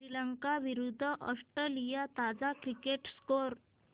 श्रीलंका विरूद्ध ऑस्ट्रेलिया ताजा cricket score